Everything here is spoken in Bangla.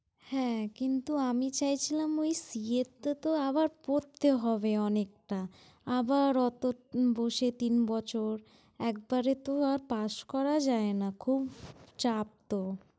হ্যাঁ কিন্তু আমি চাইছিলাম ঐ CS টা তো আবার পড়তে হবে অনেকটা। আবার এতো বসে তিন বছর, একবারে তো আর pass করা যায় না, খুব চাপ তো।